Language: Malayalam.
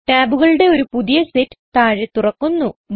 ടാബുകളുടെ ഒരു പതിയ സെറ്റ് താഴെ തുറക്കുന്നു